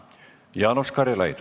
Jaanus Karilaid.